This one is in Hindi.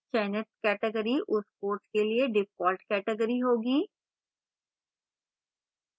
चयनित category उस course के लिए default category होगी